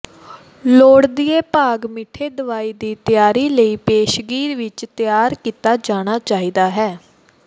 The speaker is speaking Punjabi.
ਲੋੜੀਦੇ ਭਾਗ ਮਿੱਠੇ ਦਵਾਈ ਦੀ ਤਿਆਰੀ ਲਈ ਪੇਸ਼ਗੀ ਵਿੱਚ ਤਿਆਰ ਕੀਤਾ ਜਾਣਾ ਚਾਹੀਦਾ ਹੈ